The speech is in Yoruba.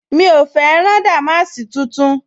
Mi ò fẹ́ rán dàmáàsì tuntun